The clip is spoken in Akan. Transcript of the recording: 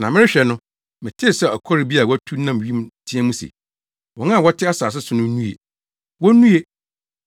Na merehwɛ no, metee sɛ ɔkɔre bi a watu nam wim teɛ mu se, “Wɔn a wɔte asase so no nnue; wonnue,